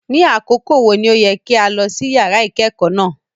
Ni akoko wo ni o yẹ ki a lọ si yara ikẹkọ náa?